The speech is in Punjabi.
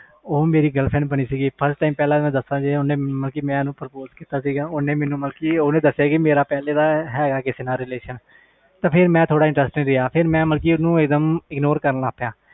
ਉਹ ਮੇਰੀ girlfriend ਬਾਣੀ ਸੀ ਮੈਂ ਉਸਨੂੰ purpose ਕੀਤਾ ਸੀ ਉਸਨੇ ਮੈਨੂੰ ਬੋਲਿਆ ਕਿ ਮੇਰਾ reletion ਹੈ ਫਿਰ ਮੈਂ interest ਨਹੀਂ ਲਿਆ ਤੇ ignore ਕਰਨਾ ਸ਼ੁਰੂ ਕਰ ਤਾ